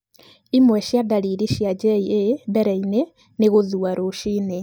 Imwe cia ndariri cia JA mbere-inĩ nĩ gũthua rũcinĩ.